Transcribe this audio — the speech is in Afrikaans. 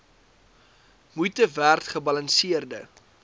moeite werd gebalanseerde